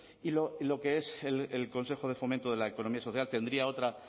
y lo que es el consejo de fomento de la economía social tendría otra